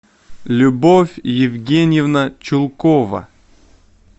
любовь евгеньевна чулкова